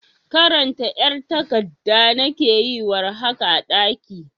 karanta ƴar tagadda nake yi war haka a daƙi